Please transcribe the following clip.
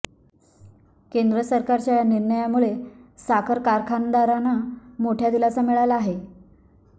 केंद्रसरकाच्या या निर्णयामुळे साखर कारखानदारांना मोठा दिलासा मिळाला आहे